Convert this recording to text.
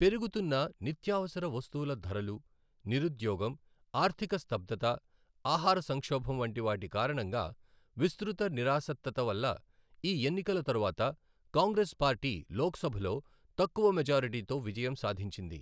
పెరుగుతున్న నిత్యావసర వస్తువుల ధరలు, నిరుద్యోగం, ఆర్థిక స్తబ్దత, ఆహార సంక్షోభం వంటి వాటి కారణంగా విస్తృత నిరాసక్తత వల్ల ఈ ఎన్నికల తరువాత కాంగ్రెస్ పార్టీ లోక్సభలో తక్కువ మెజారిటీతో విజయం సాధించింది.